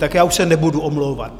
Tak já už se nebudu omlouvat.